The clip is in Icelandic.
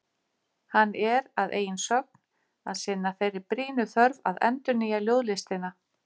Hann er, að eigin sögn, að sinna þeirri brýnu þörf að endurnýja ljóðlistina.